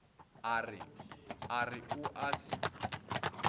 a re o a se